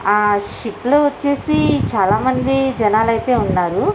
ఆ షిప్ లో వచ్చేసి చాలా మంది జనాలు ఐతె ఉన్నారు.